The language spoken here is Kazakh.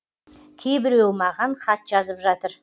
кейбіреуі маған хат жазып жатыр